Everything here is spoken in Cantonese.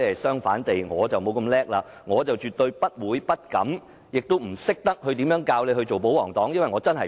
相反，我沒有這麼厲害，我絕對不會、不敢、不懂如何教導他做保皇黨。